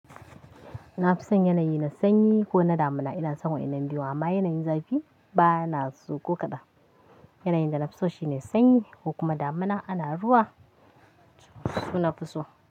Ina fison yanayi na sanyi ko na damuna. Ina son wannan biyu amma yanayin zafi ba na so ko kaɗan. Yanayin da na fi so shine sanyi ko kuma damuna ana ruwa su na fi so.